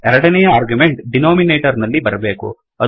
ಎರಡನೆ argument denominator ನಲ್ಲಿ ಬರಬೇಕು